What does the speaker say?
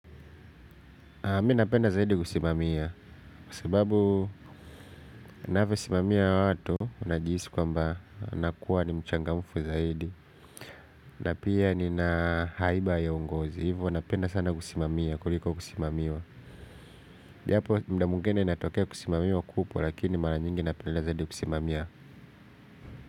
Mi napenda zaidi kusimamia. Kwa sababu ninavyosimamia watu unajihisi kwamba nakuwa ni mchangamufu zaidi. Na pia nina haiba ya uongozi. Hivo napenda sana kusimamia kuliko kusimamiwa. Japo muda mwingine natokea kusimamiwa kupo. Lakini mara nyingi napenda zaidi kusimamia.